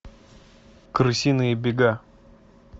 крысиные бега